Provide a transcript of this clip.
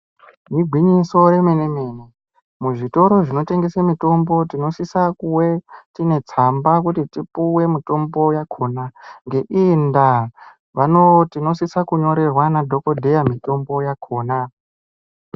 Igwinyiso remene mene muzvitoro zvinotengese mitombo tinosisa kuwe tiine tsamba kuti tipiwe mitombo yakona ngeiyi ndaa tinososa kunyorerwa nadhokodheya mitombo yakona .